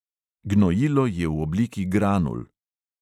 Gnojilo je v obliki granul.